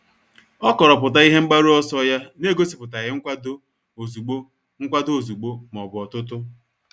O kọrọpụta ihe mgbaru ọsọ ya n'egosipụtaghi nkwado ozugbo nkwado ozugbo ma ọ bụ otutu.